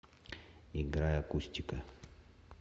играй акустика